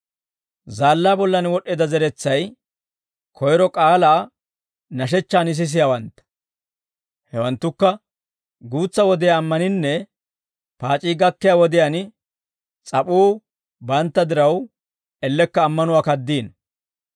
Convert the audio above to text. Zaallaa bollan wod'd'eedda zeretsay, koyro k'aalaa nashechchaan sisiyaawantta. Hewanttukka guutsa wodiyaa ammaninnee paac'ii gakkiyaa wodiyaan s'ap'uu bantta diraw ellekka ammanuwaa kaddiino.